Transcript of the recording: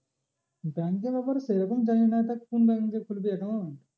Bank এর ব্যাপারে সেরকম জানি না তা কোন bank এ খুলবি account?